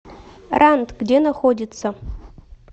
рант где находится